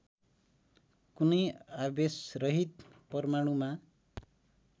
कुनै आवेशरहित परमाणुमा